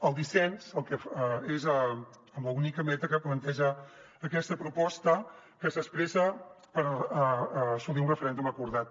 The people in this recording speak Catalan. el dissens és amb l’única meta que planteja aquesta proposta que s’expressa per assolir un referèndum acordat